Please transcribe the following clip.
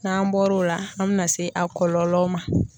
N'an bɔr'o la an bɛna se a kɔlɔlɔw ma.